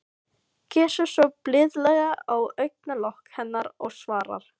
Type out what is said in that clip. Kyssir svo blíðlega á augnalok hennar og svarar: